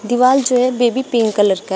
दिवाल जो है बेबी पिंक कलर का है।